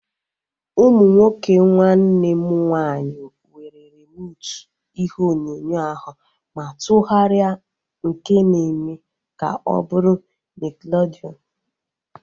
Ụmụ nwoke nwanne m nwaanyị were rimotu ihe onyonyo ahu ma tụgharịa nke na eme ka ọ bụrụ nickelodeon